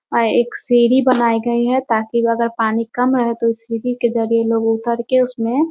वहाँ एक सीढ़ी बनाई गई है ताकि वहाँ अगर पानी कम रहे है तो उस सीढ़ी के जरिए लोग उतर के उसमें --